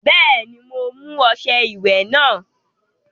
Bẹ́ẹ̀ni, mo mú ọṣẹ ìwẹ̀ náà.